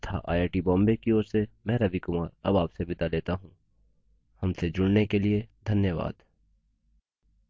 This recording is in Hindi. यह स्क्रिप्ट सकीना शेख द्वारा अनुवादित है तथा आई आई टी बॉम्बे की ओर से मैं रवि कुमार अब आपसे विदा लेता हूँ हमसे जुड़ने के लिए धन्यवाद